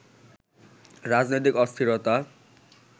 রাজনৈতিক অস্থিরতা